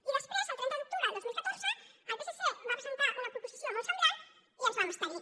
i després el trenta d’octubre del dos mil catorze el psc va presentar una proposició molt semblant i ens vam abstenir